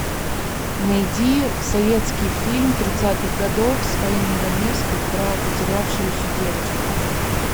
найди советский фильм тридцатых годов с фаиной раневской про потерявшуюся девочку